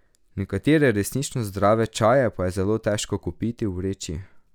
Nekatere resnično zdrave čaje pa je zelo težko kupiti v vreči.